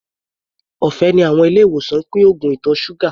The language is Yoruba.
Ọ̀fẹ́ ni àwọn ilé-ìwòsàn ń pín oògùn ìtọ̀ ṣúgà.